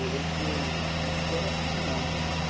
E eu lembro que a minha paquera era do ônibus, né?